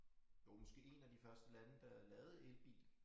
Jo måske 1 af de første lande der lavede elbil